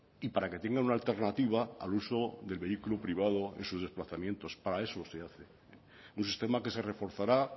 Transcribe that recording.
y para que tengan una alternativa al uso del vehículo privado en sus desplazamientos para eso se hace un sistema que se reforzará